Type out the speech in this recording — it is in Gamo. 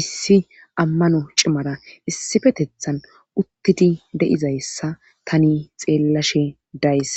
issi ammano cimara issifetethan uttidi de7izayssa tani xeellashe days